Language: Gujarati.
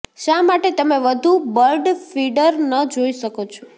શા માટે તમે વધુ બર્ડ ફીડર ન જોઈ શકો છો